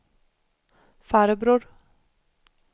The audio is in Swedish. farbror